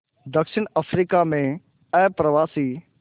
दक्षिण अफ्रीका में अप्रवासी